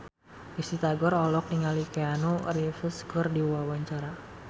Risty Tagor olohok ningali Keanu Reeves keur diwawancara